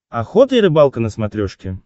охота и рыбалка на смотрешке